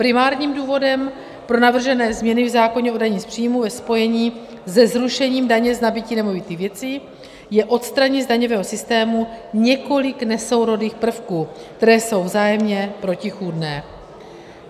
Primárním důvodem pro navržené změny v zákoně o dani z příjmů ve spojení se zrušením daně z nabytí nemovitých věcí je odstranit z daňového systému několik nesourodých prvků, které jsou vzájemně protichůdné.